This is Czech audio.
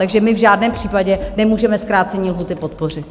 Takže my v žádném případě nemůžeme zkrácení lhůty podpořit.